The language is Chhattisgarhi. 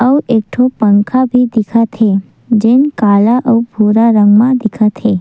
अऊ एक ठो पंखा भी दिखत हे जो काला अऊ पीला रंग में दिखत हे ।